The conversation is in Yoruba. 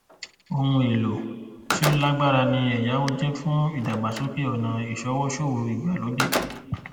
ohun èèlò tí ó lágbára ni ẹyáwó jẹ fún ìdàgbàsókè ọnà ìṣọwọ ṣòwò ìgbàlódé